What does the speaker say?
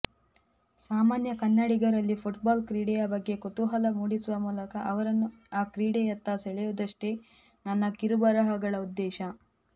ಸಾಮಾನ್ಯ ಕನ್ನಡಿಗರಲ್ಲಿ ಫುಟ್ಬಾಲ್ ಕ್ರೀಡೆಯ ಬಗ್ಗೆ ಕುತೂಹಲ ಮೂಡಿಸುವ ಮೂಲಕ ಅವರನ್ನು ಆ ಕ್ರೀಡೆಯತ್ತ ಸೆಳೆಯುವುದಷ್ಟೇ ನನ್ನ ಕಿರುಬರಹಗಳ ಉದ್ದೇಶ